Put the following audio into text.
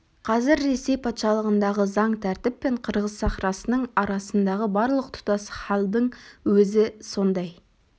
қазір ресей патшалығындағы заң тәртіп пен қырғыз сахрасының арасындағы барлық тұтас халдың өзі сондай